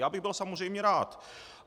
Já bych byl samozřejmě rád.